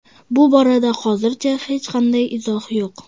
Bu borada hozircha hech qanday izoh yo‘q”.